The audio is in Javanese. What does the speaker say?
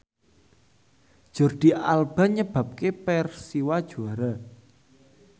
Jordi Alba nyebabke Persiwa juara